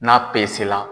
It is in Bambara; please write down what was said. N'a pesela